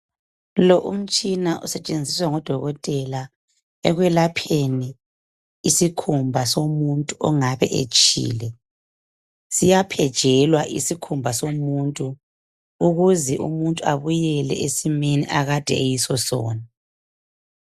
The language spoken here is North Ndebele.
Lo umtshina usetshenziswa ngodokotela ekwelapheni isikhumba somuntu ongabe etshile, siyaphejelwa isikhumba somuntu ukuze umuntu abuyele esimeni akade eyiso sona.